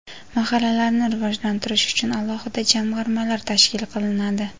Mahallalarni rivojlantirish uchun alohida jamg‘armalar tashkil qilinadi.